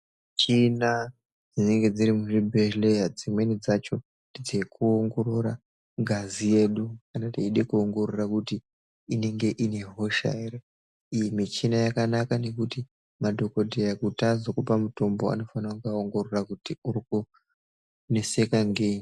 Michina dzinenge dziri muzvibhehlera dzimweni dzacho nedzekuwongorora ngazi yedu kana teida kuwongorora kuti inenge ine hosha ere. Iyi michina yakanaka ngekuti kuti madhokodheya azokupa mutombo anofana kutanga awongorora kuti urikuneseka ngei.